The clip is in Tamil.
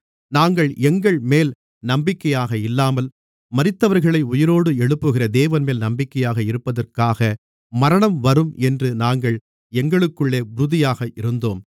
நாங்கள் எங்கள்மேல் நம்பிக்கையாக இல்லாமல் மரித்தவர்களை உயிரோடு எழுப்புகிற தேவன்மேல் நம்பிக்கையாக இருப்பதற்காக மரணம் வரும் என்று நாங்கள் எங்களுக்குள்ளே உறுதியாக இருந்தோம்